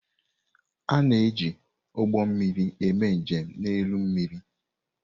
A na-eji ụgbọ mmiri eme njem n'elu mmiri.